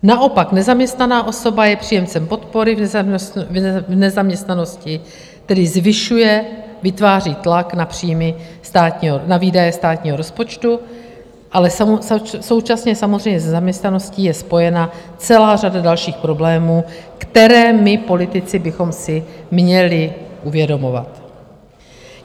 Naopak nezaměstnaná osoba je příjemcem podpory v nezaměstnanosti, tedy zvyšuje, vytváří tlak na výdaje státního rozpočtu, ale současně samozřejmě s nezaměstnaností je spojena celá řada dalších problémů, které my politici bychom si měli uvědomovat.